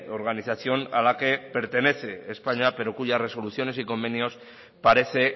organización a la que pertenece españa pero cuya resoluciones y convenios parece